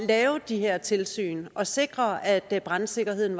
lave de her tilsyn og sikre at at brandsikkerheden